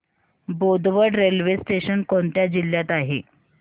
Bodwad railway station कोणत्या जिल्ह्यात आहे